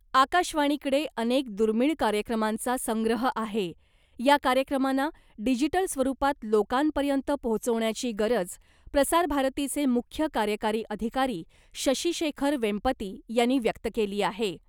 आकाशवाणीकडे अनेक दुर्मिळ कार्यक्रमांचा संग्रह आहे, या कार्यक्रमांना डिजिटल स्वरूपात लोकांपर्यंत पोहोवचण्याची गरज , प्रसारभारतीचे मुख्य कार्यकारी अधिकारी शशी शेखर वेंपती यांनी व्यक्त केली आहे .